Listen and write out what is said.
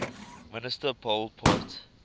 minister pol pot